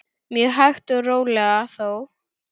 Mjög hægt og rólega þó.